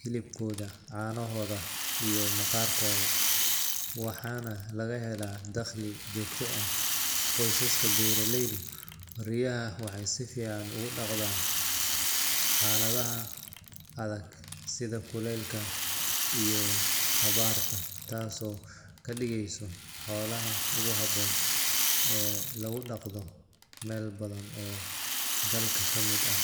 hilibkoda canahoda iyo maqarkoda waxana lagahela dagli jogto ah, qousaska beraleydu riyaha waxa sifican ogudagdaan haladaha adag sidha kulel iyo abarta taas oo kadigeyso xolaha ogu haboon ee lagudagdo meel badan oo dalka kamid ah.